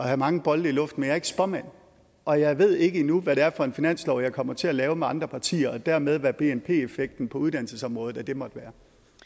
have mange bolde i luften er ikke spåmand og jeg ved ikke endnu hvad det er for en finanslov jeg kommer til at lave med andre partier og dermed hvad bnp effekten på uddannelsesområdet måtte være